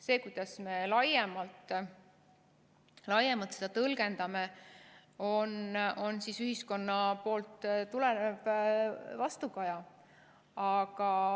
See, kuidas me laiemalt seda tõlgendame, on ühiskonnast tulenev vastukaja.